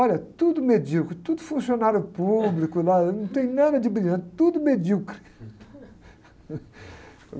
Olha, tudo medíocre, tudo funcionário público lá, não tem nada de brilhante, tudo medíocre.